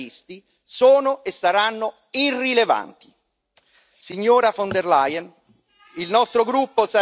Signora von der Leyen, il nostro gruppo sarà un interlocutore attento ed esigente.